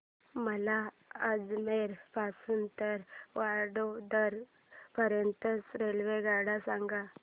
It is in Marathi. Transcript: मला अजमेर पासून तर वडोदरा पर्यंत च्या रेल्वेगाड्या सांगा